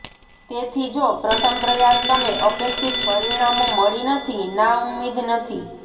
તેથી જો પ્રથમ પ્રયાસ તમે અપેક્ષિત પરિણામો મળી નથી નાઉમ્મીદ નથી